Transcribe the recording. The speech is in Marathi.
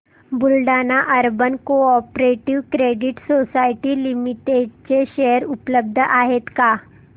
Buldhana urban cooperative credit society limited चे शेअर उपलब्ध आहेत का